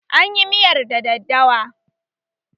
An yi miyar da daddawa